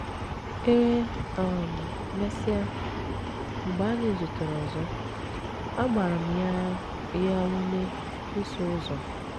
E um mesịa, mgbe anyị zutere ọzọ, agbara m ya ya ume ịsụ ụzọ.